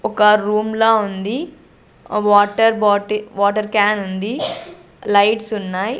ఒక్క రూమ్ లా ఉంది ఆ వాటర్ బాటిల్ వాటర్ క్యాన్ ఉంది లైట్స్ ఉన్నాయి.